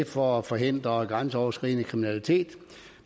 for at forhindre grænseoverskridende kriminalitet